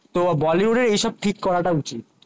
তো বলিউড এর এই সব ঠিক করাটা উচিত